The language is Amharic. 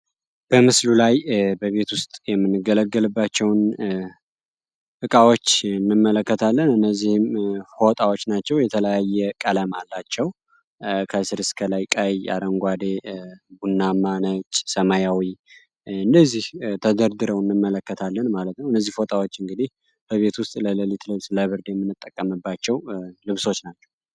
በምስሉ ላይ በቤት ውስጥ የምንገለገልባቸውን እቃዎች እንመለከታለን። እነዚህም ፎጣዎች ናቸው። የተለያየ ቀለም አላቸው። ከስር እስከላይ ቀይ፣ አረንጓዴ፣ ቡናማ፣ ነጭ፣ ሰማያዊ እነዚህ ተደርድረው እንመለከታለን ማለት ነው። እነዚህ ፎጣዎች እንግዲህ በቤት ውስጥ ለለሊት ልብስ፣ ለብርድ የምንጠቀምባቸው ልብሶች ናቸው።